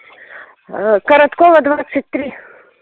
короткова двадцать три